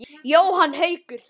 Jóhann Haukur.